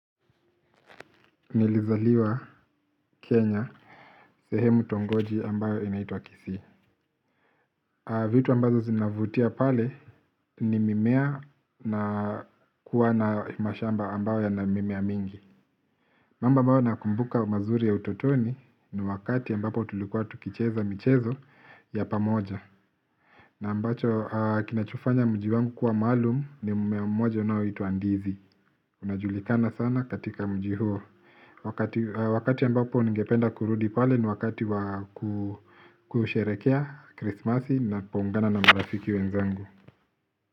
Nilizaliwa Kenya, sehemu tongoji ambayo inaitwa kisii. Vitu ambazo zinavutia pale ni mimea na kuwa na mashamba ambayo yana mimea mingi. Mambo ambayo nayakumbuka mazuri ya utotoni ni wakati ambapo tulikuwa tukicheza michezo ya pamoja. Na ambacho kinachofanya mji wangu kuwa maalumu ni mmea mmoja unaoitwa ndizi. Unajulikana sana katika mji huo, wakati wakati ambapo ningependa kurudi pale ni wakati kusherekea krismasi na kuungana na marafiki wenzangu.